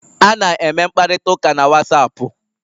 A na-eme mkparịta ụka na Wasapu